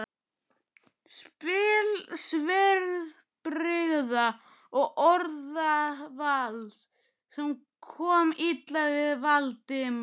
spil svipbrigða og orðavals, sem kom illa við Valdimar.